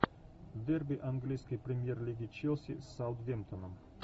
дерби английской премьер лиги челси с саутгемптоном